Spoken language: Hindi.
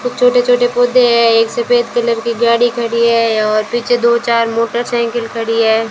कुछ छोटे-छोटे पौधे हैं एक सफेद कलर की गाड़ी खड़ी हैं और पीछे दो चार मोटरसाइकिल खड़ी हैं।